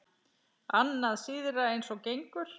Annað síðra eins og gengur.